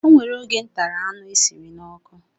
O nwere oge m tara anụ esiri n'ọkụ